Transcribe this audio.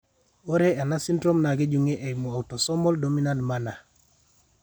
Ore ena syndrome naa kejung'I eimu autosomal dominant manner.